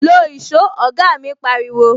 "Lo èsó "oga mi pariwo